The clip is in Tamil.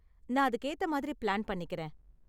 நான் அதுக்கு ஏத்த மாதிரி பிளான் பண்ணிக்கறேன்.